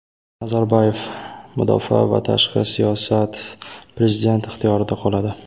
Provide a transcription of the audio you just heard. Nazarboyev: mudofaa va tashqi siyosat prezident ixtiyorida qoladi.